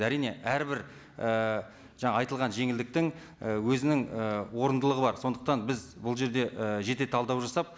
әрине әрбір ііі жаңа айтылған жеңілдіктің і өзінің і орындылығы бар сондықтан біз бұл жерде і жете талдау жасап